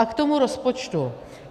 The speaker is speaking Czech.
A k tomu rozpočtu.